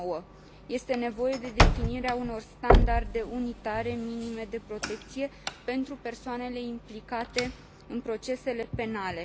9. Este nevoie de definirea unor standarde unitare minime de protecție pentru persoanele implicate în procesele penale.